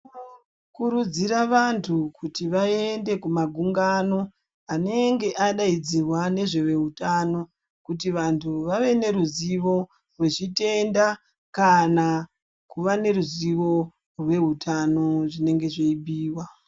Tinokurudzirwa vantu kuti vaende kunmagungano anenge adaidzrwa nezveveutano kuti vantu vave neruzivo rwechitenda kana kuva neruzivo rwezveutano zvinenge zveyi bhuyiwa.